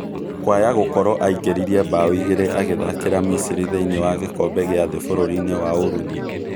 Kwayagũkũrwo aingeririe mbaũ igĩrĩ agĩthakĩra misiri thĩini wa gikombe gĩa thĩ bũrũrinĩ wa ũruthi